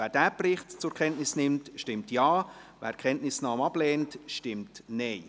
Wer diesen Bericht zur Kenntnis nimmt, stimmt Ja, wer die Kenntnisnahme ablehnt, stimmt Nein.